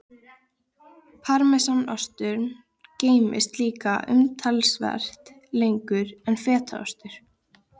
Parmesanostur geymist líka umtalsvert lengur en fetaostur.